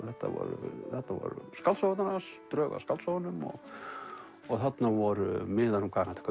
þetta voru skáldsögurnar hans drög að skáldsögunum og þarna voru miðar um hvað hann